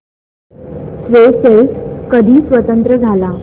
Seychelles कधी स्वतंत्र झाला